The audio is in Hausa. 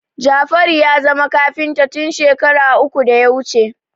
Jafaru ya zama kafinta tun shekara uku da ya wuce